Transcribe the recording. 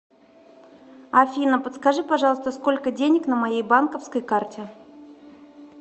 афина подскажи пожалуйста сколько денег на моей банковской карте